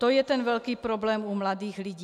To je ten velký problém u mladých lidí.